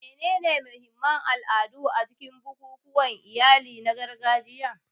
Menene mahimman al'adu a cikin bukukuwan iyali na gargajiya?